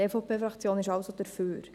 die EVP-Fraktion ist also dafür.